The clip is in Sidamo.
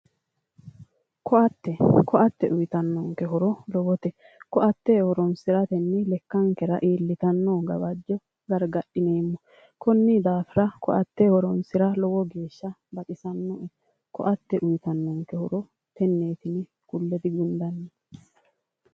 Ko"atte ko"atte uyitannonke horo lowote ko"atte horonsiratenni lekkankera iillitanno gawajjo gargadhineemmo konni daafira ko"atte horonsira lowo geeshsha baxisannoe ko"atte uyitannonke horo tenneeti yine kulle digundannite